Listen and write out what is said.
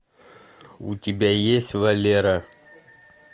у тебя есть валера